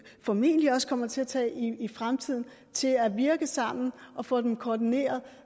formentlig også kommer til at tage i fremtiden til at virke sammen og får dem koordineret